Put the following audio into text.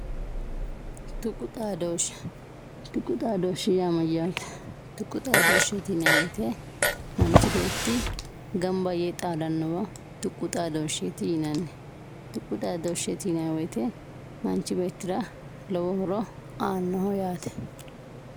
tuqu xaadooshshe tuqu xaadooshshe yaa mayyaate tuqu xaadooshsheeti yinayii woyiite manchi beetti ganba yee xaadannowa tuqu xaadooshsheeti yinanni tuqu xaadooshsheeti yinayii woyiite manchi beettira lowo horo aannoho yaate